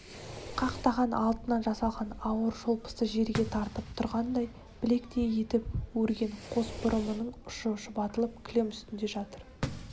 қақтаған алтыннан жасалған ауыр шолпысы жерге тартып тұрғандай білектей етіп өрген қос бұрымының ұшы шұбатылып кілем үстінде жатыр